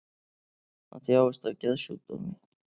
Hann þjáist af geðsjúkdómi